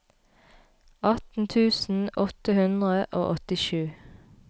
atten tusen åtte hundre og åttisju